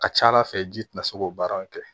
A ka ca ala fɛ ji tɛna se k'o baaraw kɛ